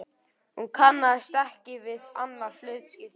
Hún kannaðist ekki við annað hlutskipti.